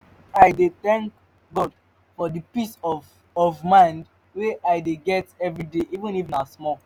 i dey tank god for di peace of of mind wey i dey get evriday even if na small